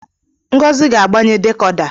Ngozi ga-agbanye dekoda